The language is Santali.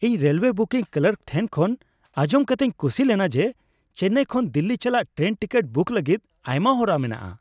ᱤᱧ ᱨᱮᱞᱳᱭᱮ ᱵᱩᱠᱤᱝ ᱠᱞᱟᱨᱠ ᱴᱷᱮᱱ ᱠᱷᱚᱱ ᱟᱸᱡᱚᱢ ᱠᱟᱛᱮᱧ ᱠᱩᱥᱤ ᱞᱮᱱᱟ ᱡᱮ ᱪᱮᱱᱱᱟᱭ ᱠᱷᱚᱱ ᱫᱤᱞᱞᱤ ᱪᱟᱞᱟᱜ ᱴᱨᱮᱱ ᱴᱤᱠᱤᱴ ᱵᱩᱠ ᱞᱟᱹᱜᱤᱫ ᱟᱭᱢᱟ ᱦᱚᱨᱟ ᱢᱮᱱᱟᱜᱼᱟ ᱾